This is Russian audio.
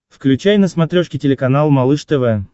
включай на смотрешке телеканал малыш тв